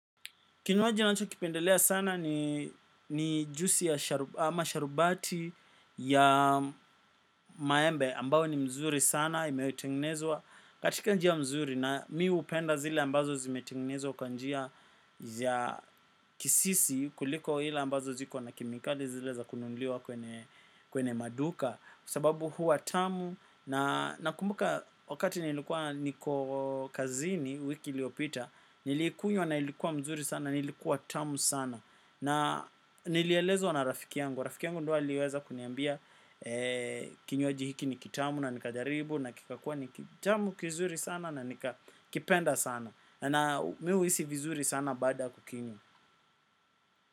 Kinywaji ninacho kipendelea sana ni, ni juisi ya sharubati ya maembe ambayo ni mzuri sana imetengenezwa, katika njia mzuri na mi upenda zile ambazo zimetengenezwa kwa njia ya kisisi kuliko ile ambazo ziko na kemikali zile za kunuliwa kwenye maduka. Kwa sababu huwa tamu na nakumbuka wakati nilikuwa niko kazini wiki iliopita, niliikunywa na ilikuwa mzuri sana na ilikuwa tamu sana. Na, nilielezwa na rafiki yangu. Rafiki yangu ndio aliweza kuniambia, kinywaji hiki ni kitamu na nikajaribu, na kikakua ni kitamu kizuri sana na nikakipenda sana. Na mi huhisi vizuri sana baada kukinywa.